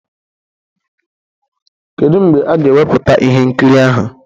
Kedu mgbe a ga-ewepụta ihe nkiri ahụ?